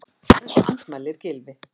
Þessu andmælir Gylfi.